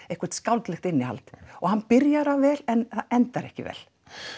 eitthvert skáldlegt innihald og hann byrjar það vel en endar ekki vel